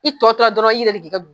I tɔ tora dɔrɔn i yɛrɛ de k'i ka